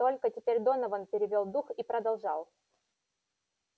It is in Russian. только теперь донован перевёл дух и продолжал